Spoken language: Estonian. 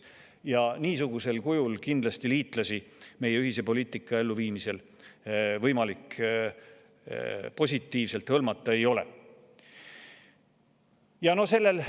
Ja niisugusel kujul kindlasti ei ole võimalik liitlasi meie ühise poliitika elluviimisse positiivselt.